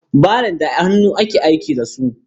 wilbaro da hannu ake aiki da su.